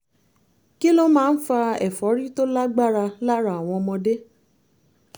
kí ló máa ń fa ẹ̀fọ́rí tó lágbára lára àwọn ọmọdé?